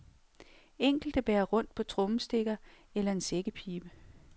Enkelte bærer rundt på trommestikker eller en sækkepibe.